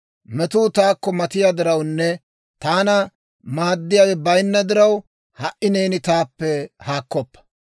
Metuu taakko matiyaa dirawunne taana maaddiyaawe bayinna diraw, Ha"i neeni taappe haakkoppa.